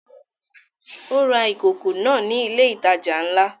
Ó ra ìkòkò náà ní ilé ìtajà ńlá